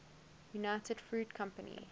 united fruit company